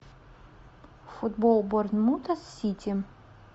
футбол борнмута с сити